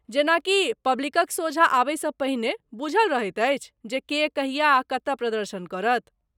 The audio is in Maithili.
जेना कि, पब्लिकक सोझा आबयसँ पहिने, बुझल रहैत अछि जे के, कहिया आ कतय प्रदर्शन करत?